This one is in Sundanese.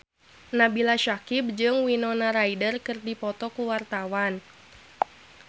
Nabila Syakieb jeung Winona Ryder keur dipoto ku wartawan